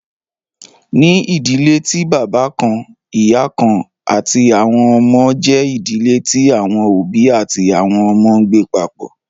Ní idílẹ̀ tí baba kàn-ìyà kàn-àti àwọn ọmọ, jẹ idílẹ̀ tí àwọn obì àti àwọn ọmọ ǹgbẹ papọ.